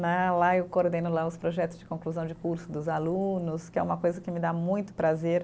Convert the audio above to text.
Né, lá eu coordeno lá os projetos de conclusão de curso dos alunos, que é uma coisa que me dá muito prazer.